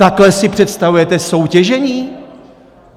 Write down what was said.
Takhle si představujete soutěžení?